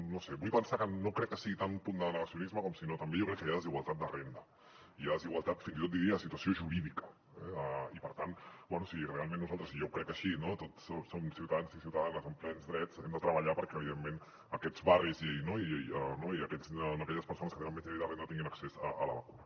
no ho sé vull pensar que no crec que sigui tant un punt de negacionisme com sinó també jo crec que hi ha desigualtat de renda i desigualtat fins i tot diria de situació jurídica eh i per tant bé si realment nosaltres i ho jo crec així no tots som ciutadans i ciutadanes amb plens drets hem de treballar perquè evidentment aquests barris i aquelles persones que tenen menys nivell de renda tinguin accés a la vacuna